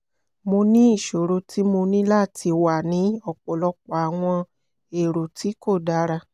mo ni iṣoro ti mo ni lati wa ni ọpọlọpọ awọn ero ti ko dara